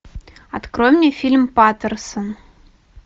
открой мне фильм патерсон